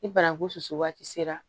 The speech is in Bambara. Ni bananku susu waati sera